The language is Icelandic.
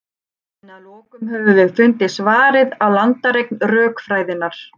en að lokum höfum við fundið svarið á landareign rökfræðinnar